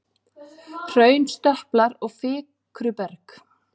Hraunstöplar og flikruberg.